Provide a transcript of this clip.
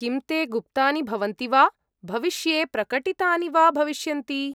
किं ते गुप्तानि भवन्ति वा, भविष्ये प्रकटितानि वा भविष्यन्ति?